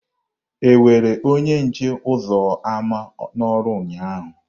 E were onye nche ụzọ ámá n'ọrụ ụnyaahụ?